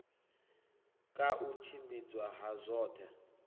ka u tshimbidzwa ha zwoṱhe